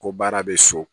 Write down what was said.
Ko baara bɛ so